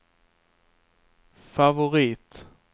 favorit